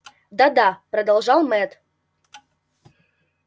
да-да продолжал мэтт